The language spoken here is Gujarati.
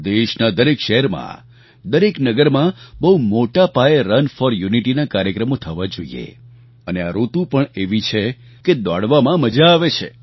દેશના દરેક શહેરમાં દરેક નગરમાં બહુ મોટા પાયે રન ફૉર યુનિટીના કાર્યક્રમો થવા જોઈએ અને આ ઋતુ પણ એવી છે કે દોડવામાં મજા આવે છે